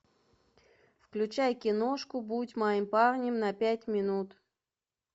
включай киношку будь моим парнем на пять минут